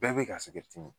Bɛɛ bɛ ka